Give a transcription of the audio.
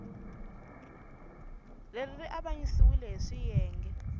leri ri avanyisiwile hi swiyenge